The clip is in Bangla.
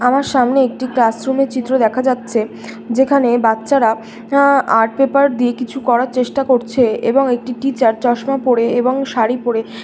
আমার সামনে একটি ক্লাসরুম - এর চিত্র দেখা যাচ্ছে যেখানে বাচ্চারা আ আর্ট পেপার দিয়ে কিছু করার চেষ্টা করছে-এ। এবং একটি টিচার চশমা পরে এবং শাড়ি পরে--